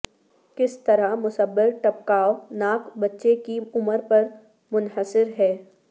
کس طرح مسببر ٹپکاو ناک بچے کی عمر پر منحصر ہے